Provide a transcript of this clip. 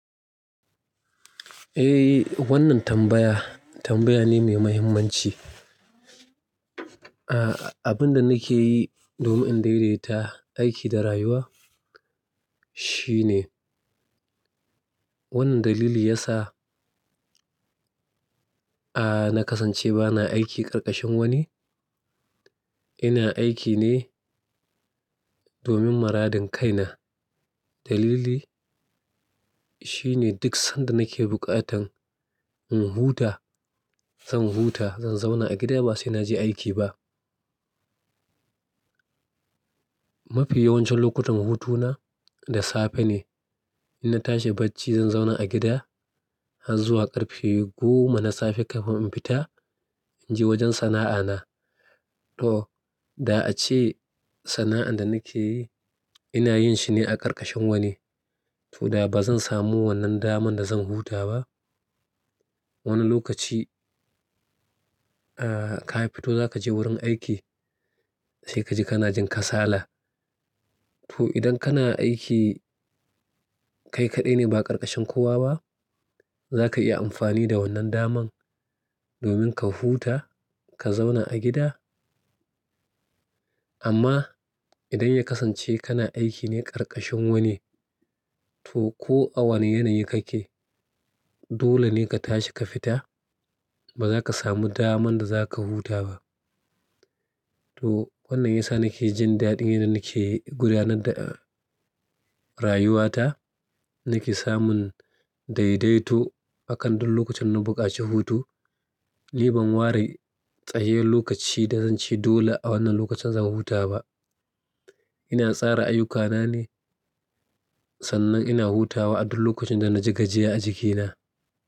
Eh, wannan tambaya, tambaya ne mai mahimmanci. Abin da nake yi domin in daidaita aiki da rayuwa shine wannan dalili ya sa na kasance ba na aiki karkashin wani. Ina aiki ne domin maradin kaina. Dalili shine duk sanda nake bukatan in huta, zan huta, zan zauna a gida ba sai na je aiki ba. Mafi yawancin lokutan hutuna da safe ne. Ina tashi bacci, zan zauna a gida har zuwa ƙarfe goma na safe kafin in fita in je wajen sana'ana. To, da a ce sana'ar da nake yi ina yin shi ne a ƙarƙashin wani, to da ba zan samu wannan daman da zan huta ba. Wani lokaci ka fito za ka je wurin aiki, sai ka ji kana jin kasala. To, idan kana aiki kai kaɗai ne ba ƙarƙashin kowa ba, za ka iya amfani da wannan daman domin ka huta, ka zauna a gida. Amma idan ya kasance kana aiki ne ƙarƙashin wani, to ko a wane yanayi kake dole ne ka tashi ka fita. Ba za ka samu daman da za ka huta ba. To, wannan ya sa nake jin daɗi yanda nake gudanar da rayuwata. Nake samun daidaito akan duk lokacin na buƙaci hutu. Ni ban ware tsayayyen lokaci da zanci dole a wannan lokacin zan huta ba. Ina tsara ayyukana ne sannan ina hutawa a duk lokacin da na ji gajiya a jikina.